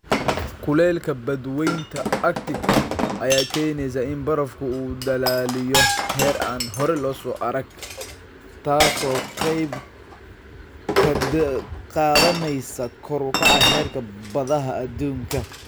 Kulaylka badweynta Arctic ayaa keenaysa in barafku uu dhalaaliyo heer aan hore loo arag, taas oo qayb ka qaadanaysa kor u kaca heerka badaha adduunka.